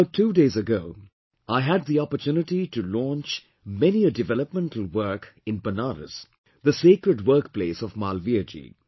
About two days ago, I had the opportunity to launch many a developmental work in Banaras, the sacred workplace of Malviyaji